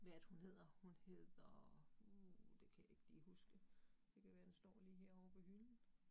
Hvad er det hun hedder, hun hedder uh det kan jeg ikke lige huske, det kan være, den står lige herovre på hylden